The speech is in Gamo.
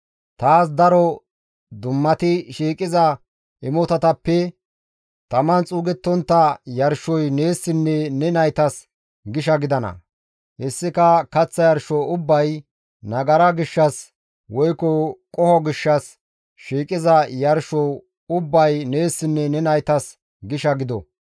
Taas daro dummati shiiqiza imotatappe taman xuugettontta yarshoy neessinne ne naytas gisha gidana; hessika kaththa yarsho ubbay, nagara gishshas woykko qoho gishshas shiiqiza yarsho ubbay neessinne ne naytas gisha gido.